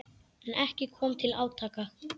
En ekki kom til átaka.